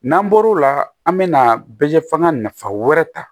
N'an bɔr'o la an bɛ na bɛ f'an ka nafa wɛrɛ ta